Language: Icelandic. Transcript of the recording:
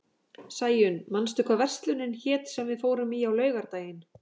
Sæunn, manstu hvað verslunin hét sem við fórum í á laugardaginn?